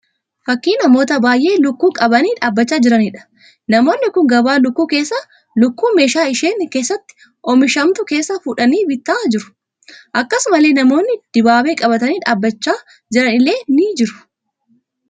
Fakkii namoota baay'ee lukkuu qabanii dhaabbachaa jiraniidha. Namoonni kun gabaa lukkuu keessaa lukkuu meeshaa isheen keessatti oomishamtu keessaa fuudhanii bitaa jiru. Akkasumallee namoonni dibaabee qabatanii dhaabbachaa jiran illee argamaa jiru.